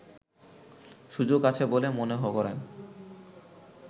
সুযোগ আছে বলে মনে করেন